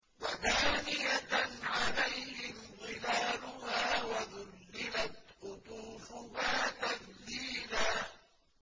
وَدَانِيَةً عَلَيْهِمْ ظِلَالُهَا وَذُلِّلَتْ قُطُوفُهَا تَذْلِيلًا